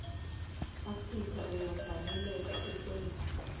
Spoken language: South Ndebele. afrika uyafaneleka kukwenza